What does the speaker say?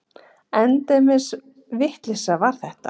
Endemis vitleysa var þetta!